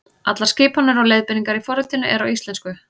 Allar skipanir og leiðbeiningar í forritinu eru á íslensku.